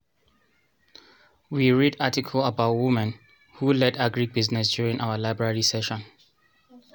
we read article about women who led agric business during our library session